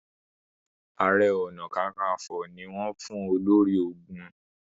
aré ọnà kankanfo ní wón fún olórí ológun.